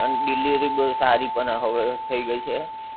અને delivery પણ બહું સારી હવે થઈ ગઈ છે